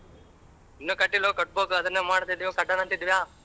ಇನ್ನೂ ಕಟ್ಟಿಲವೋ ಕಟ್ಟಬೇಕು ಅದುನ್ನೆ ಮಾಡ್ತಿದೀವಿ ಕೊಟ್ಟೋಣಂತಿದ್ವಾ.